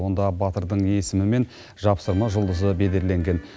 онда батырдың есімі мен жапсырма жұлдызы бедерленген